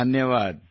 ಧನ್ಯವಾದ